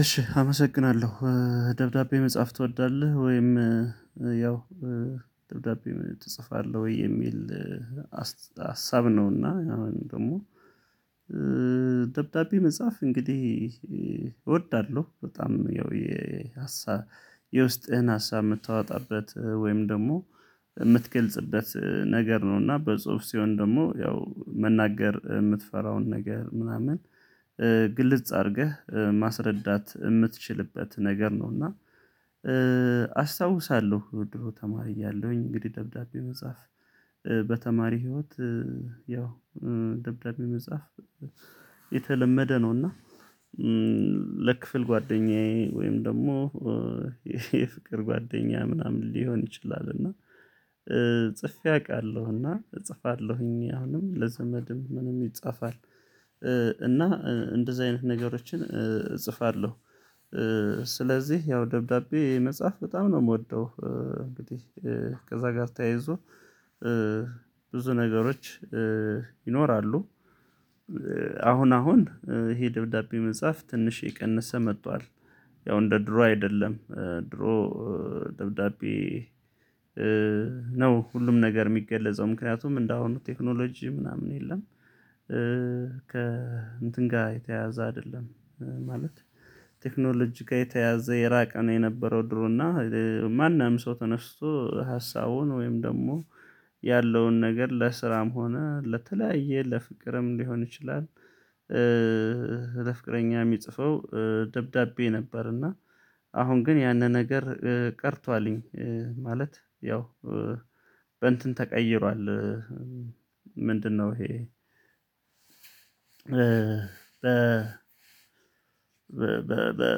እሺ አመሰግናለሁ ደብዳቤ መጽሐፍ ትወዳለህ? ወይም ያው ደብዳቤ ትጽፋለሁ ወይ የሚል አስት ሀሳብ ነውና አሁንም ደግሞ ደብዳቤ መጻፍ እንግዲህ እወዳለሁ። በጣም ያው የሀሳብ የውስጥህን ሀሳብ የምታዎጣበት ወይም ደግሞ የምትገልጽበት ነገር ነው እና በጽሁፍ ሲሆን ደግሞ ያው መናገር የምትፈራውን ነገር ምናምን ግልጽ አድርገህ ማስረዳት የምትችልበት ነገር ነው። እና አስታውሳለሁ ድሮ ተማሪ እያለሁኝ እንግዲህ ደብዳቤ መጻፍ በተማሪ ህይወት ያው ደብዳቤ መጽሐፍ የተለመደ ነው። እና ለክፍል ጓደኛዬ ወይም ደግሞ የፍቅር ጓደኛ ምናምን ሊሆን ይችላል። እና ጽፌ አውቃለሁ እጽፋለሁኝ አሁንም ለዘመድም ምንም ይጻፋል እና እንደዚህ አይነት ነገሮችን እጽፋለሁ። ስለዚህ ያው ደብዳቤ መጽሐፍ በጣም ነው የምወደው። ከዛ ጋር ተያይዞ ብዙ ነገሮች ይኖራሉ። አሁን አሁን ይሄ ደብዳቤ መጽሐፍ ትንሽ እየቀነሰ መጥቷል። ያው እንደ ድሮ አይደለም ድሮ ደብዳቤ ነው ሁሉም ነገር የሚገለጸው ምክንያቱም እንደሆኑ ቴክኖሎጂ ምናምን የለም። ከ እንትን ጋር የተያያዘ አይደለም ማለት ቴክኖሎጂጋ የተያዘ የራቀ ነው። የነበረው ድሮና ማንም ሰው ተነስቶ ሀሳቡን ወይም ደግሞ ያለውን ነገር ለስራም ሆነ ለተለያየ ለፍቅርም ሊሆን ይችላል። ለፍቅረኛ የሚጽፈው ደብዳቤ ነበር። እና አሁን ግን ያንን ነገር ቀርቷልኝ ማለት ያው በእንትን ተቀይሯል። ምንድነው? ይሄ በ በ በ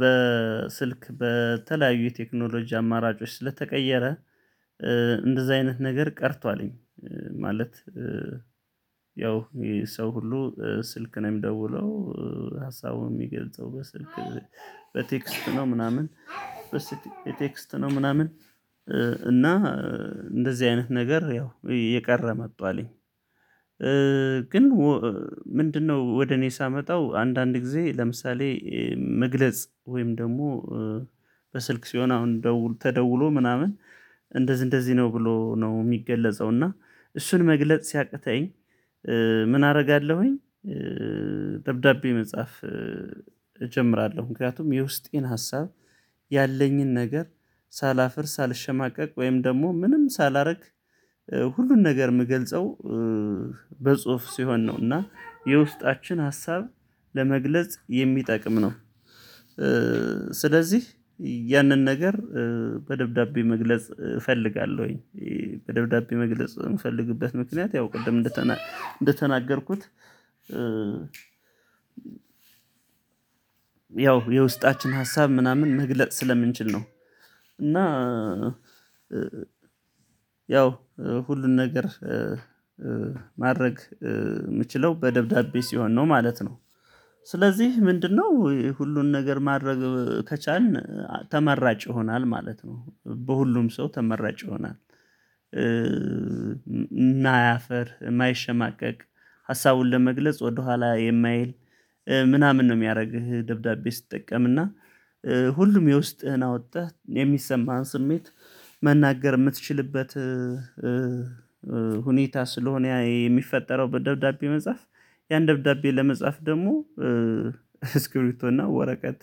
በ ስልክ በተለያዩ የቴክኖሎጂ አማራጮች ስለተቀየረ እንደዛ አይነት ነገር ቀርቷ ልኝ ማለት ያው ይ ሰው ሁሉ ስልክ ነው የሚደውለው ሀሳቡን የሚገልጸው በስልክ በቴክስት ነው። ምናምን በስት ቴክስት ነው ምናምን። እና እንደዚህ አይነት ነገር ያው እየቀረ መጧ ልኝ። ግን ምንድነው? ወደ እኔ ሳመጣው አንዳንድ ጊዜ ለምሳሌ መግለጽ ወይም ደግሞ በስልክ ሲሆን አሁን ደውል ተደውሎ ምናምን እንደዚህ እንደዚህ ነው ብሎ ነው የሚገለጸው እና እሱን መግለጽ ሲያቅተኝ ምን አረጋለሁኝ? ደብዳቤ መጻፍ እጀምራለሁ ምክንያቱም የውስጤን ሀሳብ ያለኝን ነገር ሳላፍር ሳልሸማቀቅ ወይም ደግሞ ምንም ሳላረግ ሁሉን ነገር የምገልጸው በጽሁፍ ሲሆን ነው። እና የውስጣችን ሀሳብ ለመግለጽ የሚጠቅም ነው። ስለዚህ ያንን ነገር በደብዳቤ መግለጽ እፈልጋለሁኝ በደብዳቤ መግለጽ የምፈልግበት ምክንያት ያው ቅድም እንደተናገርኩት ያው የውስጣችን ሀሳብ ምናምን መግለጥ ስለምንችል ነው። እና ያው ሁሉን ነገር ማድረግ የምችለው በደብዳቤ ሲሆን ነው ማለት ነው። ስለዚህ ምንድነው ሁሉን ነገር ማድረግ ከቻልን ተመራጭ ይሆናል ማለት ነው። በሁሉም ሰው ተመራጭ ይሆናል። እማያፍር የማይሸማቀቅ ሀሳቡን ለመግለጽ ወደኋላ የማይል ምናምን ነው የሚያረግህ ደብዳቤ ስትጠቀምእና ሁሉም የውስጥህን አወተህ የሚሰማህን ስሜት መናገር የምትችልበት። ሁኔታ ስለሆነ የሚፈጠረው በደብዳቤ መጽሐፍ ያን ደብዳቤ ለመጻፍ ደግሞ እስክ እና ወረቀት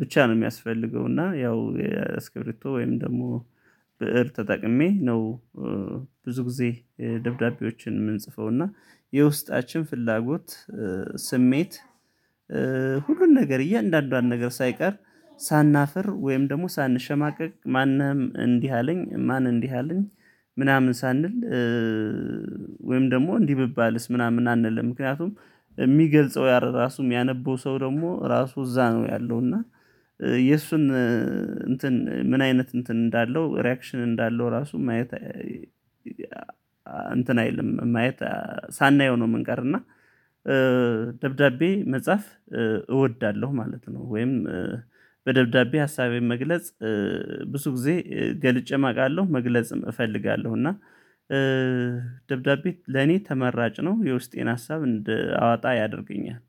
ብቻ ነው የሚያስፈልገው እና ያው ስክብሪቶ ወይም ደግሞ ብእር ተጠቅሜ ነው። ብዙ ጊዜ ደብዳቤዎችን የምንጽፈው እና የውስጣችን ፍላጎት ስሜት ሁሉን ነገር እያንዳንዷን ነገር ሳይቀር ሳናፍር ወይም ደግሞ ሳንሸማቀቅ ማንም እንዲህ አለኝ ማን እንዲህ አለኝ ምናምን ሳንል። ወይም ደግሞ እንዲህ ብባልስ ምናምን አንልም ምክንያቱም የሚገልጸው ራሱ ያነበው ሰው ደግሞ ራሱ እዛ ነው ያለው እና የእሱን እንትን ምን አይነት እንትን እንዳለው ሪአክሽን እንዳለው ራሱ ማየት እንትን አይልም ማየት ሳናየው ነው የምንቀር እና እና ደብዳቤ መጻፍ እወዳለሁ ማለት ነው። ወይም በደብዳቤ ሀሳቤን መግለጽ ብዙ ጊዜ ገልጬም አውቃለሁ መግለጽም እፈልጋለሁ። እና ለኔ ተመራጭ ነው የውስጤን ሀሳብ እንደ አዋጣ ያደርገኛል።